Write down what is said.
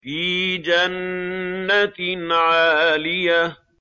فِي جَنَّةٍ عَالِيَةٍ